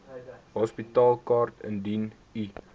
hospitaalkaart indien u